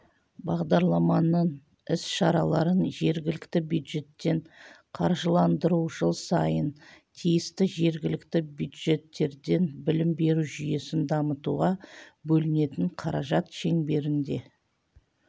бағдарламаның іс шараларын жергілікті бюджеттен қаржыландыру жыл сайын тиісті жергілікті бюджеттерден білім беру жүйесін дамытуға бөлінетін қаражат шеңберінде